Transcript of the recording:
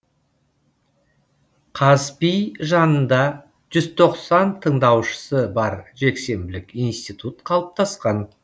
қазпи жанында жүз тоқсан тындаушысы бар жексенбілік институт қалыптасқан